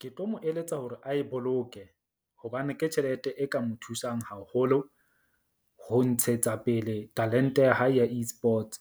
Ke tlo mo eletsa hore a e boloke. Hobane ke tjhelete e ka mo thusang haholo ho ntshetsa pele talent-e ya hae ya Esports